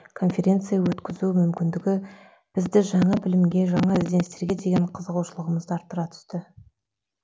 конференция өткізу мүмкіндігі бізді жаңа білімге жаңа ізденістерге деген қызығушылығымызды арттыра түсті